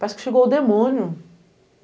Parece que chegou o demônio.